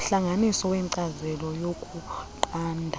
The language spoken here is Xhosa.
umhlanganisi wenkcazelo yokunqanda